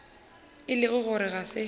e le gore ga se